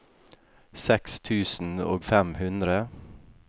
seks tusen og fem hundre